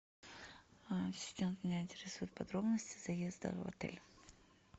ассистент меня интересуют подробности заезда в отель